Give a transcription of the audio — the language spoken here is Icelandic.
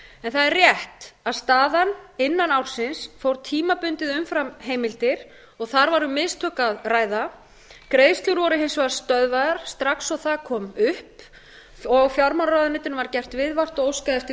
en það er rétt að staðan innan ársins fór tímabundið umfram heimildir þar var um mistök að ræða greiðslur voru hins vegar stöðvaðar strax og það kom upp og fjármálaráðuneytinu var gert viðvart og óskað eftir